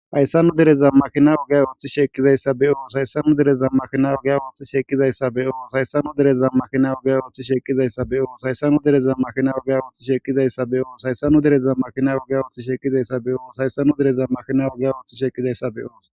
Hayssanu dereza makina ogay ooththi shekkizayssa be7o sayssanu dereza makina oga ooththi shekkizayssa be7oo hayssanu dereza makina oga ooththi shekizayssa beo hayssanu dereza makina ugga ooththi shekizayssa be7oo hayssanu dereza makina ogga ooththi shekkizayssa beyo hayssanu dereza makina ogga ooththi shekizayssa be7o.